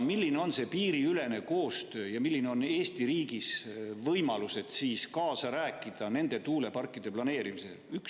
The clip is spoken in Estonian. Milline on piiriülene koostöö ja millised on Eesti riigi võimalused kaasa rääkida nende tuuleparkide planeerimisel?